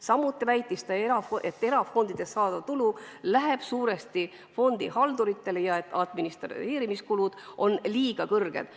Samuti väitis ta, et erafondidest saadav tulu läheb suuresti fondihalduritele ja et administreerimiskulud on liiga suured.